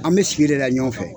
An bɛ sigi de la ɲɔgɔn fɛ